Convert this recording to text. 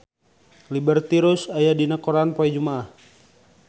Liberty Ross aya dina koran poe Jumaah